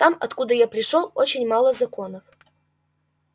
там откуда я пришёл очень мало законов